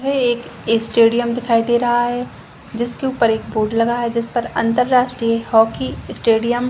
एक स्टेडियम दिखाई दे रहा है जिसके ऊपर एक बोर्ड लगा है जिस पर अंतरराष्ट्रीय हॉकी स्टेडियम --